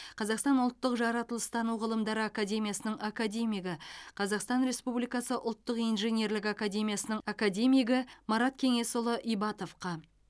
қазақстан ұлттық жаратылыстану ғылымдары академиясының академигі қазақстан республикасы ұлттық инженерлік академиясының академигі марат кеңесұлы ибатовқа